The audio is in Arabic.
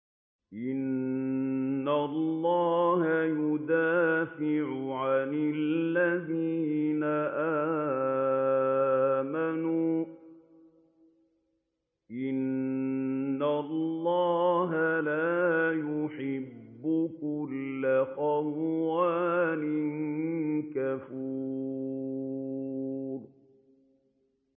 ۞ إِنَّ اللَّهَ يُدَافِعُ عَنِ الَّذِينَ آمَنُوا ۗ إِنَّ اللَّهَ لَا يُحِبُّ كُلَّ خَوَّانٍ كَفُورٍ